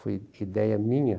Foi ideia minha.